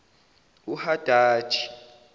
uhadaji